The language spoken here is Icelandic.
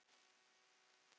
og ef já hvað mikið?